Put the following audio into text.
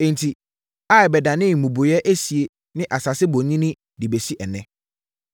Enti, Ai bɛdanee mmubuiɛ esie ne asase bonini de bɛsi ɛnnɛ.